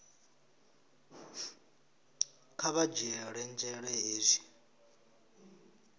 kha vha dzhiele nzhele hezwi